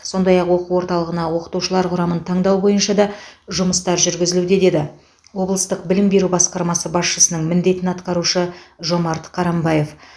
сондай ақ оқу орталығына оқытушылар құрамын таңдау бойынша да жұмыстар жүргізілуде деді облыстық білім беру басқармасы басшысының міндетін атқарушы жомарт қарамбаев